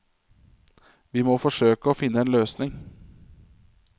Vi må forsøke å finne en løsning.